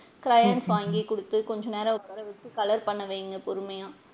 Crayons வாங்கி குடுத்து கொஞ்சம் நேரம் உட்கார வச்சு colour பண்ண வைங்க பொறுமையா.